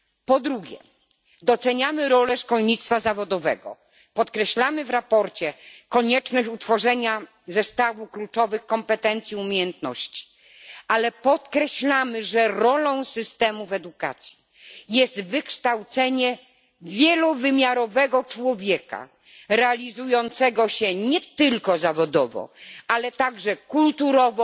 Po drugie, doceniamy rolę szkolnictwa zawodowego, podkreślamy w sprawozdaniu konieczność utworzenia zestawu kluczowych kompetencji, umiejętności, ale przypominamy, że rolą systemów edukacji jest wykształcenie wielowymiarowego człowieka realizującego się nie tylko zawodowo, ale także kulturowo,